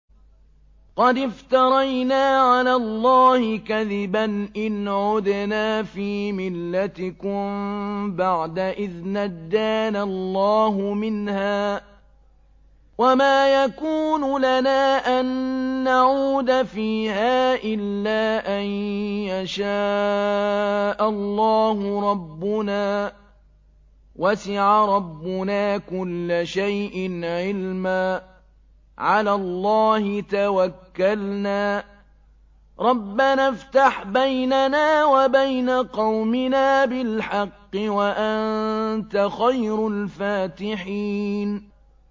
قَدِ افْتَرَيْنَا عَلَى اللَّهِ كَذِبًا إِنْ عُدْنَا فِي مِلَّتِكُم بَعْدَ إِذْ نَجَّانَا اللَّهُ مِنْهَا ۚ وَمَا يَكُونُ لَنَا أَن نَّعُودَ فِيهَا إِلَّا أَن يَشَاءَ اللَّهُ رَبُّنَا ۚ وَسِعَ رَبُّنَا كُلَّ شَيْءٍ عِلْمًا ۚ عَلَى اللَّهِ تَوَكَّلْنَا ۚ رَبَّنَا افْتَحْ بَيْنَنَا وَبَيْنَ قَوْمِنَا بِالْحَقِّ وَأَنتَ خَيْرُ الْفَاتِحِينَ